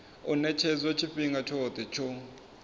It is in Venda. u ṅetshedzwa tshifhinga tshoṱhe tsho